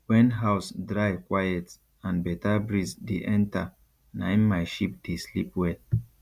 wen house dry quiet and better breeze dey enter naim my sheep dey sleep well